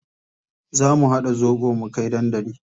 Za mu haɗa zobo mu kai dandali.